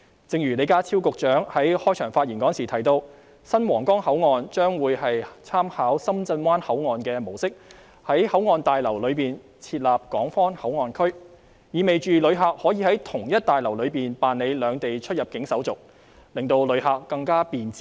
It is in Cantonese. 正如李家超局長在開場發言時提到，新皇崗口岸將會參考深圳灣口岸的模式，在口岸大樓內設立港方口岸區，這意味旅客可以在同一座大樓內辦理兩地出入境手續，令旅客過關更為便捷。